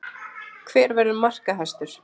Hver verður markahæstur?